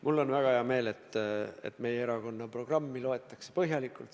Mul on väga hea meel, et meie erakonna programmi loetakse põhjalikult.